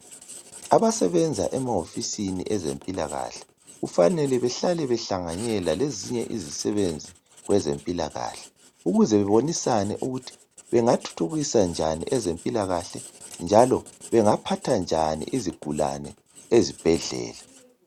Abasebenza emawofisini ezempilakahle kufanele behlale behlanganela lezinye izisebenzi kwezempilakahle ukuze bebonisane ukut bengathuthukisa njan empilakahle njala bengaphatha njan izigulani ezibhedlela